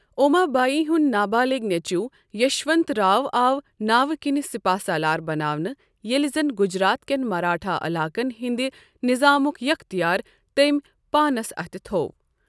اوما بایی ہُنٛد نابالغ نیٚچو یشونت راؤ آو ناوِ كِنۍ سِپاہ سالار بناونہٕ ، ییٚلہِ زن گجرات كٮ۪ن مراٹھا علاقن ہندِ نِظامُک یختِیار تٔمۍ پانس اتھ تھوو۔